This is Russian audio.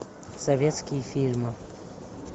советские фильмы